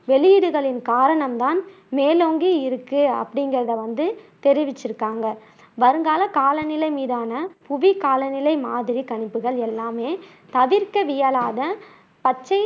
வெளியீடுகளின் காரணம் தான் மேலோங்கிஇருக்கு அப்படிங்குறதை வந்து தெரிவிச்சு இருக்காங்க வருங்கால காலநிலை மீதான புவி காலநிலை மாதிரி கணிப்புகள் எல்லாமே தவிர்க்கவியலாத பச்சை